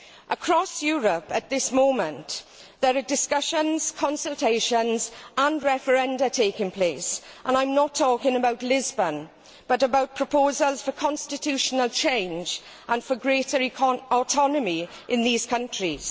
Across Europe at this moment, there are discussions, consultations and referenda taking place, and I am not talking about Lisbon but about proposals for constitutional change and for greater autonomy in these countries.